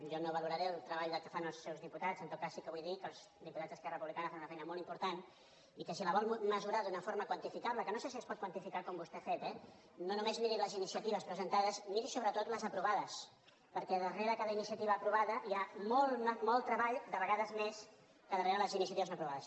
jo no valoraré el treball que fan els seus diputats en tot cas sí que vull dir que els diputats d’esquerra republicana fan una feina molt important i que si la vol mesurar d’una forma quantificable que no sé si es pot quantificar com vostè ha fet eh no només miri les iniciatives presentades miri sobretot les aprovades perquè darrere cada iniciativa aprovada hi ha molt treball de vegades més que darrere de les iniciatives no aprovades